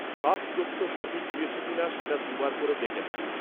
সব তথ্য সঠিক দিয়েছ কিনা সেটা দু'বার করে দেখে নাও।